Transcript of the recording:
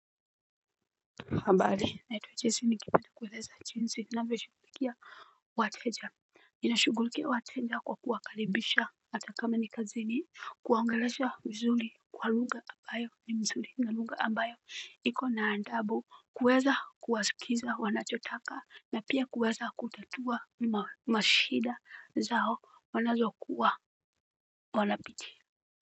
Habari naitwa echesi ningependa kueleza jiinsi na veshukulikia wateja. Nashughulikia wateja kwa kuwakaribisha ata kama ni kazini kuwaongelesha vizuri kwa lugha ambayo ni nzuri. Niko na adabu kuweza kuwasikiza wanachotaka na pia kuweza kutatua mashida zao wanayokuwa wanapitia.